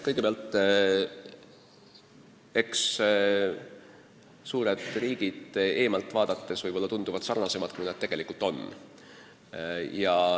Kõigepealt, eks need suured riigid eemalt vaadates tunduvad võib-olla sarnasemad, kui nad tegelikult on.